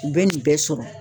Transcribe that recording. U be nin bɛɛ sɔrɔ